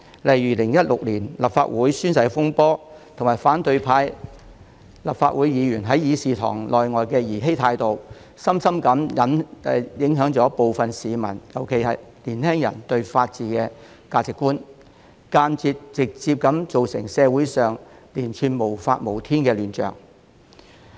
例如立法會2016年的宣誓風波及立法會反對派議員在議事堂內外的兒嬉態度，深深影響部分市民，尤其是年輕人對法治的價值觀，間接及直接地造成社會上連串無法無天的亂象。